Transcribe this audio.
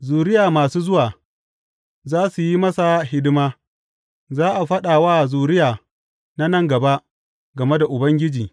Zuriya masu zuwa za su yi masa hidima; za a faɗa wa zuriya na nan gaba game da Ubangiji.